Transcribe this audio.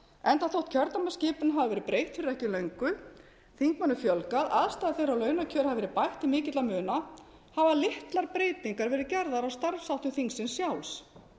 enda þótt kjördæmaskipan hafi verið breytt fyrir ekki löngu þingmönnum fjölgað aðstaða þeirra og launakjör hafa verið bætt til mikilla muna hafa litlar breytingar verið gerðar á starfsháttum þingsins sjálfs